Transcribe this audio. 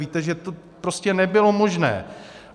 Víte, že to prostě nebylo možné.